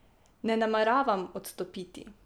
Ne nameravam odstopiti.